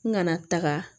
N kana taga